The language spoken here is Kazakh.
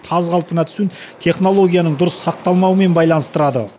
таз қалпына түсуін технологияның дұрыс сақталмауымен байланыстырады